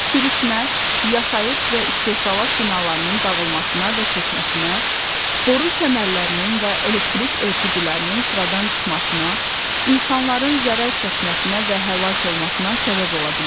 Sürüşmə yaşayış və istehsalat binalarının dağılmasına və çökməsinə, boru kəmərlərinin və elektrik ötürücülərinin sıradan çıxmasına, insanların zərər çəkməsinə və həlak olmasına səbəb ola bilər.